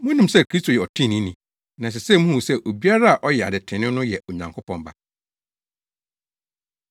Munim sɛ Kristo yɛ ɔtreneeni. Na ɛsɛ sɛ muhu sɛ obiara a ɔyɛ ade trenee no yɛ Onyankopɔn ba.